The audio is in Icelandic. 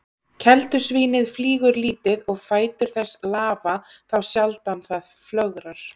Keldusvínið flýgur lítið og fætur þess lafa þá sjaldan það flögrar.